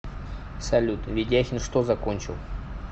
салют ведяхин что закончил